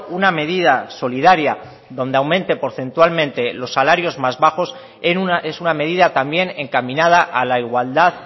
una medida solidaria donde aumente porcentualmente los salarios más bajos es una medida también encaminada a la igualdad